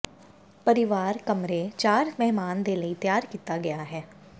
ਪਰਿਵਾਰ ਕਮਰੇ ਚਾਰ ਮਹਿਮਾਨ ਦੇ ਲਈ ਤਿਆਰ ਕੀਤਾ ਗਿਆ ਹੈ